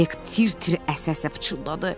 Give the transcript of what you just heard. Hek tir-tir əsə-əsə pıçıldadı: